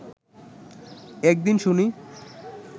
এক দিন শুনি